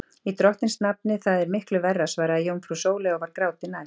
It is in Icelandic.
Í drottins nafni, það er miklu verra, svaraði jómfrú Sóley og var gráti næst.